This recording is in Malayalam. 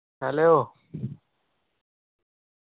hello